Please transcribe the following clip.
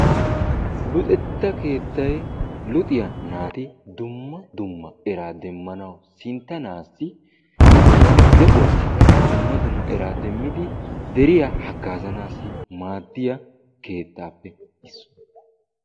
Luxetta keettay luxiya naati dumma dumma eraa demmanawu, sinttanaassi ba de'uwassikka dumma dumma eraa demmidi deriya haggaazanaassi maaddiya keettaappe issuwa.